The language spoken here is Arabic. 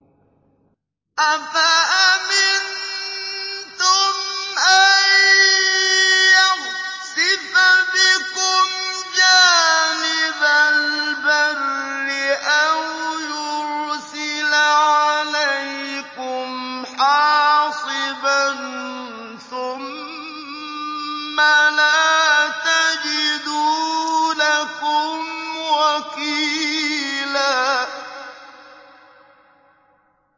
أَفَأَمِنتُمْ أَن يَخْسِفَ بِكُمْ جَانِبَ الْبَرِّ أَوْ يُرْسِلَ عَلَيْكُمْ حَاصِبًا ثُمَّ لَا تَجِدُوا لَكُمْ وَكِيلًا